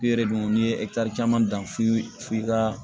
I yɛrɛ dun n'i ye caman dan f'i f'i ka